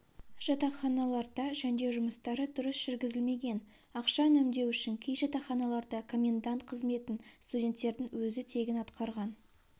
жатақханаларда жөндеу жұмыстары дұрыс жүргізілмеген ақша үнемдеу үшін кей жатақханаларда комендант қызметін студенттердің өзі тегін атқарған